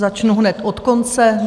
Začnu hned od konce.